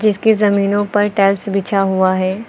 इसके जमीनों पर टाइल्स बिछा हुआ है।